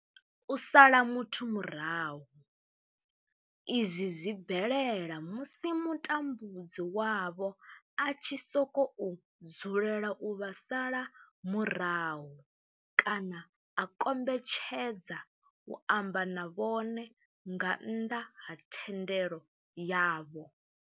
U sala muthu murahu, izwi zwi bvelela musi mutambudzi wavho a tshi sokou dzulela u vha sala murahu kana a kombetshedza u amba na vhone nga nnḓa ha thendelo yavho.